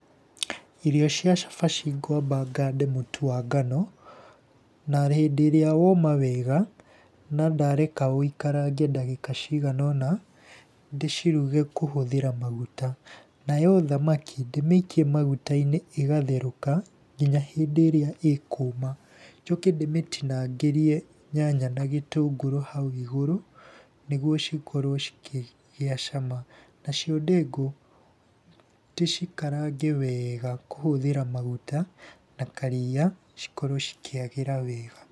Irio cia cabaci ngwamba ngande mũtu wa ngano, na hĩndĩ ĩrĩa woma wega na ndareka wũikarange ndagĩka cigana ũna, ndĩciruge kũhũthĩra maguta. Nayo thamaki ndĩmĩikie maguta-inĩ ĩgatheruka nginya hĩndĩ ĩrĩa ĩkũma, njoke ndĩmĩtinangĩrĩe nyanya na gĩtũngũrũ hau igũrũ, nĩguo cikorwo cikĩgĩa cama. Nacio ndengũ ndĩcikarange wega kũhũthĩra maguta, na karia, cikorwo cikĩagĩra wega.